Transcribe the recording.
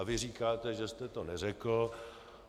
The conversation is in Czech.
A vy říkáte, že jste to neřekl.